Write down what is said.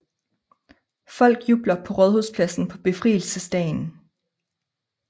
Folk jubler på Rådhuspladsen på befrielsesdagen